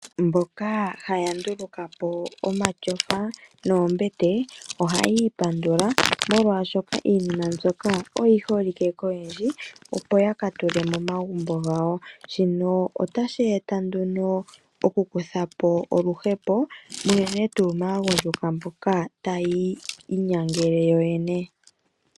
Mboka haya ndulukapo omatyofa noombete ohaya ipandula, molwaashoka iinima mbyoka oyi holike koyendji opo yakatule momagumbo gawo. Shino otashi eta nduno okukuthapo oluhepo unene tuu maagundjuka mboka taya inyangele yoyene.